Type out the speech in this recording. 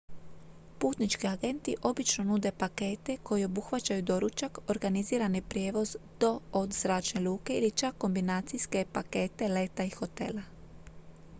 putnički agenti obično nude pakete koji obuhvaćaju doručak organizirani prijevoz do/od zračne luke ili čak kombinacijske pakete leta i hotela